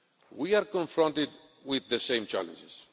We are confronted with the same challenges.